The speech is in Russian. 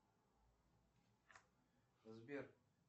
сбер